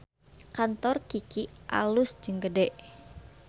Kantor Kiky alus jeung gede